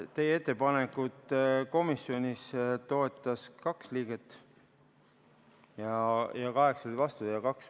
Teie ettepanekut komisjonis toetas kaks liiget ja kaheksa olid vastu.